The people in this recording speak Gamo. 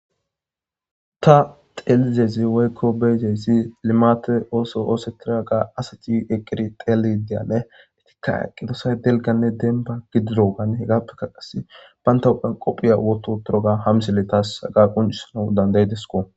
ta xelizayssi woykko be7izayssi limate ooso oosetiraga asati eqqiri teli deyane etikka aqqidosay delganne demba gidirogane hegappeka qas banata huphiyan qophiya wototuroga ha misile taas haga quncisanawu dandayidesko.